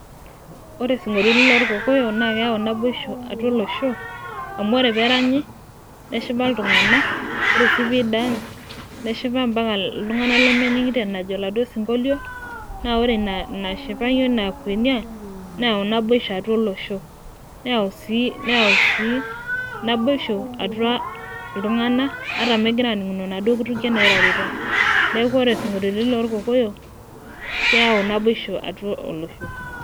Ore sinkoliotin loorkokoyo naa keyau naboisho, atua olosho. amu ore peeranyi neshipa iltungana, ore sii pee I dance neshipa mpaka iltunganak lemeningito enajo oladuoo sinkolio. naa ore, Ina shipai oina kuenia, neyau naboisho atua olosho. neyau sii neyau sii naboisho atua iltunganak ata megirae aaninguno inaduoo kutukie naairoruta. neeku isinkoliotin loorkokoyo keyau naboisho atua olosho.